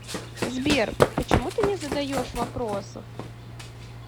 сбер почему ты не задаешь вопросов